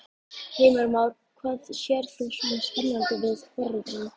Heimir Már: Hvað sérð þú svona spennandi við forritun?